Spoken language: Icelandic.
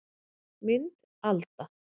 Mynd Alda